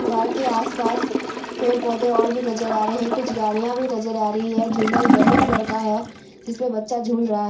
park के आसपास पेड़-पौधे और भी नजर आ रहे है कुछ गाड़ियां भी नजर आ रही है झूला येल्लो कलर का है जिसमे बच्चा झूल रहा --